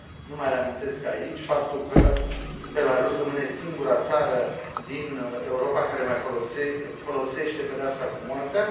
Nu mai reamintesc aici faptul că Belarus rămâne singura țară din Europa care mai folosește pedeapsa cu moartea!